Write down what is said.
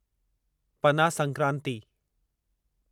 पना संक्रांति